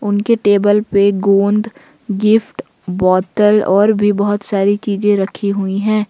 उनके टेबल पे गोंद गिफ्ट बोतल और भी बहुत सारी चीजें रखी हुई हैं।